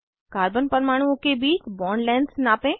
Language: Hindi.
कार्बन परमाणुओं के बीच बॉन्ड लेंग्थस नापें